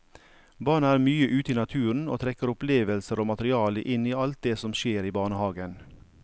Barna er mye ute i naturen og trekker opplevelser og materiale inn i alt det som skjer i barnehagen.